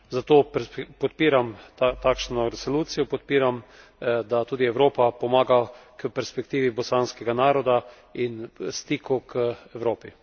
Zato podpiram takšno resolucijo, podpiram, da tudi Evropa pomaga k perspektivi bosanskega naroda in stiku k Evropi.